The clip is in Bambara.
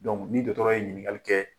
nin dɔtɔrɔ ye ɲininkali kɛ.